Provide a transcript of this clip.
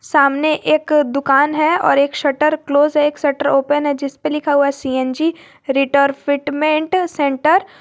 सामने एक दुकान है और एक शटर क्लोज है एक शटर ओपन है जिस पर लिखा हुआ सी_एन_जी रेट्रोफिटमेंट सेंटर ।